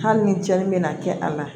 Hali ni jaali bɛna kɛ a la